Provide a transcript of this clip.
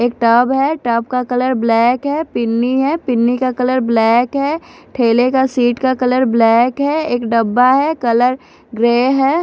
एक टब है टब का कलर ब्लैक है पिन्नी है पिन्नी का कलर ब्लैक है ठेले का सीट का कलर ब्लैक है एक डब्बा है कलर ग्रे है।